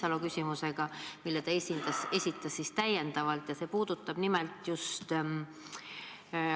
Minu küsimus haakub osaliselt kolleeg Signe Riisalo täiendava küsimusega.